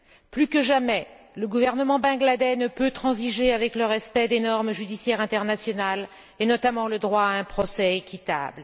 Plus que jamais, le gouvernement bangladais ne peut transiger avec le respect des normes judiciaires internationales et, notamment, le droit à un procès équitable.